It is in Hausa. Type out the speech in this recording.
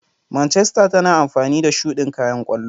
Manchester tana amfani da shudin kayan kwallo.